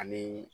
Ani